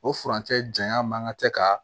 O furancɛ janya man kan ka kɛ ka